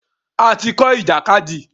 A ti kọ́ ìjàkadì.